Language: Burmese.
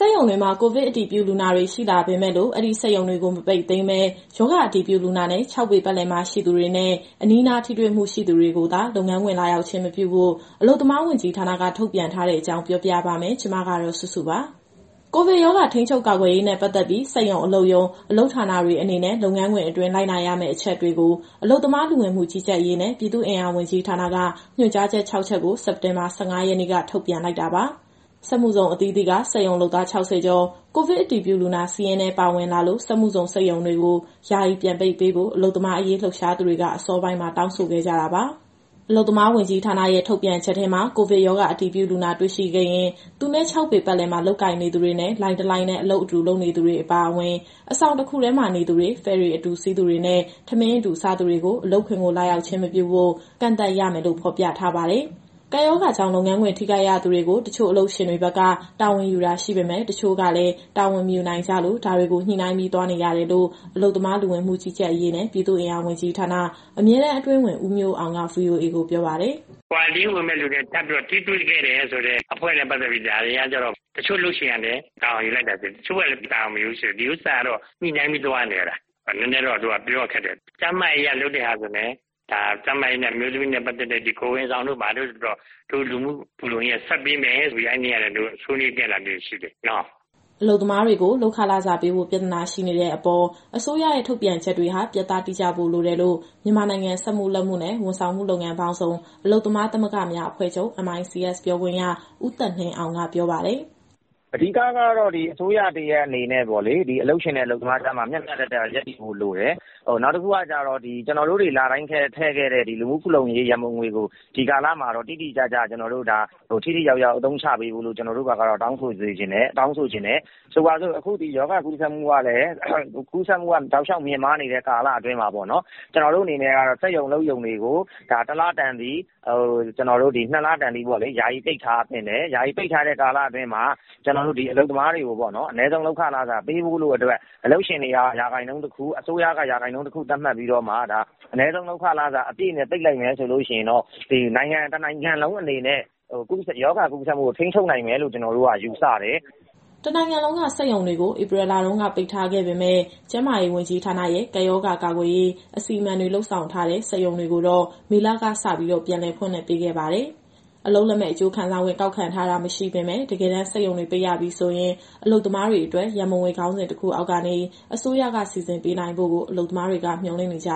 က်ရုံတွေမှာ ကိုဗစ်အတည်ပြုလူနာတွေ ရှိလာပေမယ့်လို့ အဲဒီစက်ရုံတွေကို မပိတ်သိမ်းဘဲ ရောဂါအတည်ပြုလူနာနဲ့ ၆ ပေ ပတ်လည်မှာ ရှိသူတွေနဲ့ အနီးနားထိတွေ့မှုရှိသူတွေကိုသာ လုပ်ငန်းခွင်လာရောက်ခြင်း မပြုဖို့ အလုပ်သမားဝန်ကြီးဌာနက ထုတ်ပြန်ထားတဲ့အကြောင်း ပြောပြပေးပါမယ်။ ဒီသတင်းကို ဗွီအိုအေမြန်မာပိုင်း သတင်းထောက်စုစုက တင်ဆက်ပေးမှာပါ။ ကိုဗစ်ရောဂါထိန်းချုပ်ကာကွယ်ရေးနဲ့ ပတ်သက်ပြီး စက်ရုံ၊ အလုပ်ရုံ၊ အလုပ်ဌာနတွေအနေနဲ့ လုပ်ငန်းခွင်အတွင်း လိုက်နာရမယ့်အချက်တွေကို အလုပ်သမား၊ လူဝင်မှုကြီးကြပ်ရေးနဲ့ ပြည်သူ့အင်အားဝန်ကြီးဌာနက ညွှန်ကြားချက် ၆ ချက်ကို စက်တင်ဘာ ၁၅ ရက်နေ့က ထုတ်ပြန်လိုက်တာပါ။ စက်မှုဇုန်အသီးသီးက စက်ရုံလုပ်သား ၆၀ ကျော် ကိုဗစ်အတည်ပြုလူနာစာရင်းထဲ ပါဝင်လာလို့ စက်မှုဇုန်စက်ရုံတွေကို ယာယီပြန်ပိတ်ပေးဖို့ အလုပ်သမားရေးလှုပ်ရှားနေသူတွေက အစောပိုင်းမှာ တောင်းဆိုခဲ့ကြတာပါ။ အလုပ်သမားဝန်ကြီးဌာနရဲ့ ထုတ်ပြန်ချက်ထဲမှာ ကိုဗစ်ရောဂါအတည်ပြုလူနာ တွေ့ရှိခဲ့ရင် သူနဲ့ ၆ ပေပတ်လည်မှာ လုပ်ကိုင်နေသူတွေနဲ့ လိုင်းတလိုင်းတည်း အလုပ်လုပ်သူတွေအပါအဝင် အဆောင်တခုတည်းမှာ နေထိုင်သူတွေ၊ ဖယ်ရီအတူစီးသူတွေ၊ ထမင်းအတူစားသူတွေကို အလုပ်ခွင်ကို လာရောက်ခြင်းမပြုဖို့ ကန့်သတ်ရမယ်လို့ ဖော်ပြထားပါတယ်။ ကပ်ရောဂါကြောင့် လုပ်ငန်းခွင်ထိခိုက်ရသူတွေကို တချို့အလုပ်ရှင်တွေဘက်က တာဝန်ယူတာရှိပေမယ့် တချို့ကလည်း တာဝန်မယူနိုင်ကြလို့ ဒါတွေကို ညှိနှိုင်းပြီး သွားနေရတယ်လို့ အလုပ်သမား၊ လူဝင်မှုကြီးကြပ်ရေးနဲ့ ပြည်သူ့အင်အားဝန်ကြီးဌာန အမြဲတမ်းအတွင်းဝန် ဦးမျိုးအောင်က VOA ကိုပြောပါတယ်။ “Quarantine ဝင်မယ့်သူနဲ့ ထပ်ပြီးတော့ထိတွေ့ခဲ့တဲ့အဖွဲ့နဲ့ ပတ်သက်ပြီး ဒါတွေကကျတော့ တချို့အလုပ်ရှင်ကလည်း တာဝန်ယူလိုက်တာရှိတယ်။ တချို့ကလည်း တာဝန်မယူဘူးဆိုတော့။ ဒီဥစ္စာကတော့ ညှိနှိုင်းပြီးသွားနေရတာ နည်းနည်းတော့ ပြောရခက်တယ်။ ကျန်းမာရေးအရ လုပ်တဲ့ဟာဆိုရင်လည်း အမျိုးသမီးနဲ့ပတ်သက်တဲ့ ဒီကိုယ်ဝန်ဆောင်တို့၊ ဘာတို့တော့ လူမှုဖူလုံရေးက ဆက်ပေးမယ်ဆိုပြီး အဲနေ့က ဆွေးနွေးခဲ့တာလေးတွေ ရှိတယ်။" အလုပ်သမားတွေကို လုပ်ခလစာပေးဖို့ ပြဿနာရှိနေတဲ့အပေါ် အစိုးရရဲ့ထုတ်ပြန်ချက်တွေဟာ ပြတ်သား တိကျဖို့လိုတယ်လို့ မြန်မာနိုင်ငံစက်မှုလက်မှုနဲ့ ဝန်ဆောင်မှုလုပ်ငန်းပေါင်းစုံ အလုပ်သမားသမဂ္ဂများအဖွဲ့ချုပ် ပြောခွင့်ရ ဦးသက်နှင်းအောင်က ဆိုပါတယ်။ “အဓိကတော့ ဒီအစိုးရတရပ်အနေနဲ့ အလုပ်ရှင်နဲ့ အလုပ်သမားကြားမှာ မျှမျှတတရပ်တည်ဖို့လိုတယ်။ နောက်တခုက ကျနော်တို့တွေ လတိုင်းထည့်ခဲ့တဲ့ လူမှုဖူလုံရေး ရန်ပုံငွေကို ဒီကာလမှာတော့ ထိထိရောက်ရောက်အသုံးချပေးဖို့ တောင်းဆိုချင်တယ်။ ဆိုပါစို့ အခုရောဂါကူးစက်မှု တောက်လျှောက်မြင့်မားနေတဲ့ကာလမှာ ကျနော်တို့အနေနဲ့ကတော့ စက်ရုံအလုပ်ရုံတွေကို တလတန်သည်၊ နှစ်လတန်သည်ပေါ့လေ၊ ယာယီပိတ်ထားသင့်တယ်။ ယာယီပိတ်ထားတဲ့ကာလအတွင်းမှာ အလုပ်သမားတွေကို အနည်းဆုံးလုပ်ခ လစာပေးဖို့အတွက် အလုပ်ရှင်ဆီက ရာခိုင်နှုန်းတခု၊ အစိုးရက ရာခိုင်နှုန်းတခု သတ်မှတ်ပြီးတော့မှ အနည်းဆုံးလုပ်ခ လစာအပြည့်နဲ့ ပိတ်လိုက်မယ်ဆိုရင်တော့ နိုင်ငံတနိုင်ငံလုံးအနေနဲ့ ရောဂါကူးစက်မှုကို ထိန်းချုပ်နိုင်လိမ့်မယ်လို့ ကျနော်တို့က ယူဆတယ်။" တနိုင်ငံလုံးက စက်ရုံတွေကို ဧပြီလတုန်းက ပိတ်ထားခဲ့ပေမယ့် ကျန်းမာရေးဝန်ကြီးဌာနရဲ့ ကပ်ရောဂါကာကွယ်ရေး အစီအမံတွေ လုပ်ထားတဲ့ စက်ရုံတွေကိုတော့ မေလကစပြီး ပြန်ဖွင့်ခွင့်ပေးခဲ့ပါတယ်။ အလုပ်လက်မဲ့ အကျိုးခံစားခွင့် ကောက်ခံထားတာ မရှိပေမဲ့ တကယ်တမ်း စက်ရုံတွေ ပိတ်ရပြီဆိုရင် အလုပ်သမားတွေအတွက် ရန်ပုံငွေ ခေါင်းစဉ်တခုအောက်ကနေ အစိုးရက စီစဉ်ပေးနိုင်ဖို့ကို အလုပ်သမားတွေက မျှော်လင့်နေကြ